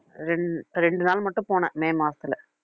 ரெண்~ ரெண்டு நாள் மட்டும் போனேன் மே மாசத்துல